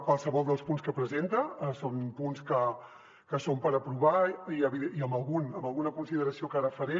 qualsevol dels punts que presenta són punts que són per aprovar i en algun amb alguna consideració que ara faré